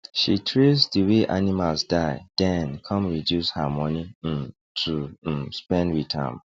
she trace di way animals die den come reduce her money um to um spend with am